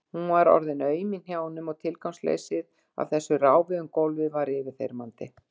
Hún var orðin aum í hnjánum og tilgangsleysið með þessu ráfi um gólfið var yfirþyrmandi.